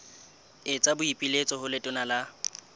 etsa boipiletso ho letona la